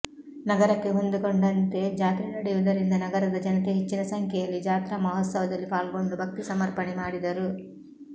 ನಗರಕ್ಕೆ ಹೊಂದುಕೊಂಡಂತೆ ಜಾತ್ರೆ ನಡೆಯುವುದರಿಂದ ನಗರದ ಜನತೆ ಹೆಚ್ಚಿನ ಸಂಖ್ಯೆಯಲ್ಲಿ ಜಾತ್ರಾ ಮಹೋತ್ಸವದಲ್ಲಿ ಪಾಲ್ಗೊಂಡು ಭಕ್ತಿ ಸಮರ್ಪಣೆ ಮಾಡಿದರು